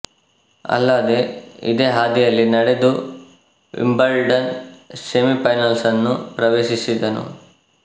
ಅಲ್ಲದೇ ಇದೇ ಹಾದಿಯಲ್ಲಿ ನಡೆದು ವಿಂಬಲ್ಡನ್ ಸೆಮಿ ಫೈನಲ್ಸ್ ಅನ್ನು ಪ್ರವೇಶಿಸಿದನು